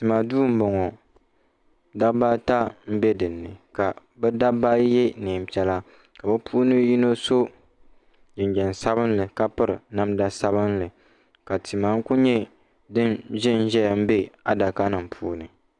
Tima duu m-bɔŋɔ dabba ata m-be dini ka bɛ dabba ayi ye neem'piɛla ka bɛ puuni yino so jinjam sabinli ka piri namda sabinli ka tima n-kuli nyɛ din ʒe n-ʒeya be adakanima puuni.